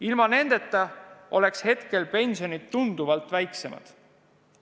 Ilma nendeta oleks pensionid praegu tunduvalt väiksemad.